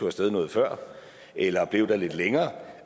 af sted noget før eller var blevet der lidt længere